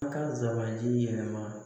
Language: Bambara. A ka nsabanti yɛlɛma